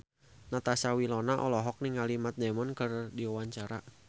Natasha Wilona olohok ningali Matt Damon keur diwawancara